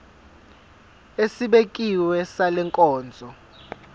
esibekiwe sale nkonzo